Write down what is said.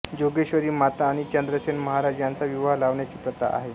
जोगेश्वरी माता आणि चंद्रसेन महाराज यांचा विवाह लावण्याची प्रथा आहे